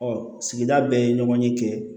sigida bɛɛ ye ɲɔgɔn ye kɛ